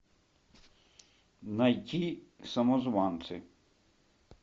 найти самозванцы